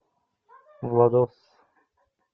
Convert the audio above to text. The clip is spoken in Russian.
владос